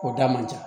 O da man ca